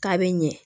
K'a bɛ ɲɛ